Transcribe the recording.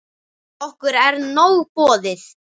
Okkur er nóg boðið